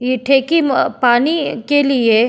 ये ठेकी म पानी के लिए --